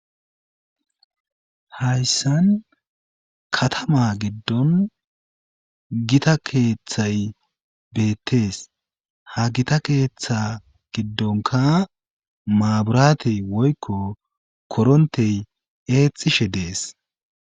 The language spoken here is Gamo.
hayssan katama giddon gita keeththay beettees ha gita keeththa giddonka maaburaatey woykko korontey eexxishe dees